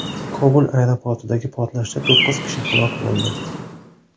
Kobul aeroportidagi portlashda to‘qqiz kishi halok bo‘ldi.